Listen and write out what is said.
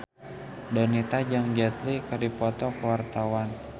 Donita jeung Jet Li keur dipoto ku wartawan